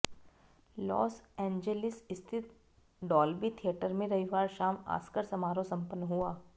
loss Angeles स्थित Dolby theatre में रविवार शाम ऑस्कर समारोह संपन्न हुआ